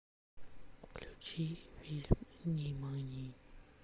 включи фильм нимани